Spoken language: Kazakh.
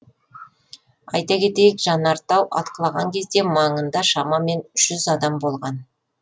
айта кетейік жанартау атқылаған кезде маңында шамамен жүз адам болған